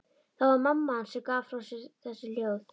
Það var mamma hans sem gaf frá sér þessi hljóð.